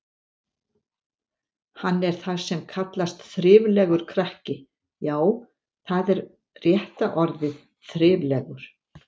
Hann er það sem kallast þriflegur krakki, já, það er rétta orðið, þriflegur.